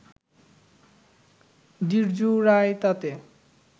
দ্বিজু রায় তাতে